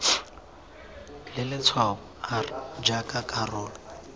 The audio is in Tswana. le letshwao r jaaka karolo